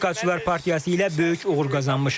Respublikaçılar partiyası ilə böyük uğur qazanmışıq.